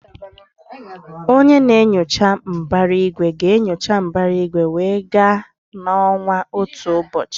Onye na-enyocha mbara igwe ga-enyocha mbara igwe wee gaa na ọnwa otu ụbọchị.